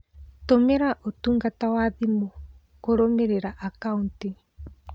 Tũmĩra ũtungata wa thimũ kũrũmĩrĩra akauti.